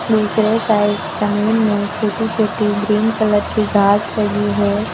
दूसरे साइड जमीन में छोटी छोटी ग्रीन कलर की घास लगी है।